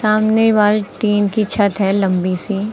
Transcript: सामने wall tin की छत है लंबी सी।